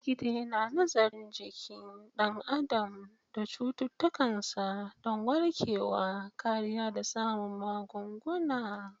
Likita yana nazarin jikin ɗan adam da cututtukansa don warkarwa, kariya, da samun magunguna.